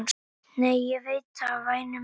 """Nei, ég veit það, væni minn."""